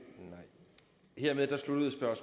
elev halvtredstusind